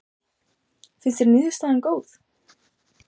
Lillý: Finnst þér niðurstaðan góð?